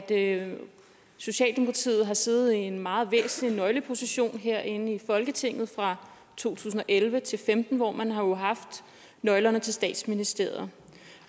at socialdemokratiet har siddet i en meget væsentlig nøgleposition herinde i folketinget fra to tusind og elleve til femten hvor man jo har haft nøglerne til statsministeriet